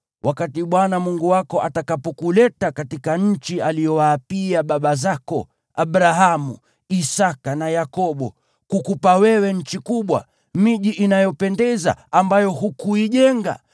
Wakati Bwana Mungu wako atakapokuleta katika nchi aliyowaapia baba zako, Abrahamu, Isaki na Yakobo, kukupa wewe, nchi kubwa, ina miji inayopendeza ambayo hukuijenga,